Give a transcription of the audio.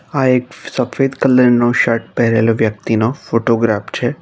આ એક સફેદ કલર નો શર્ટ પહેરેલો વ્યક્તિનો ફોટોગ્રાફ છે.